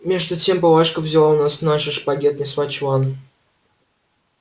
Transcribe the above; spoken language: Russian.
между тем палашка взяла у нас наши шпаги и отнесла в чулан